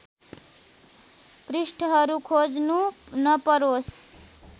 पृष्ठहरू खोज्नु नपरोस्